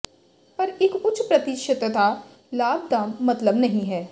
ਪਰ ਇੱਕ ਉੱਚ ਪ੍ਰਤੀਸ਼ਤਤਾ ਲਾਭ ਦਾ ਮਤਲਬ ਨਹੀ ਹੈ